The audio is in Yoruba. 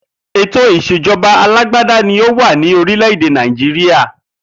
Ètò ìs̩èjo̩ba alágbádá ni ó wà ní orílè̩-èdè Nàìjíríà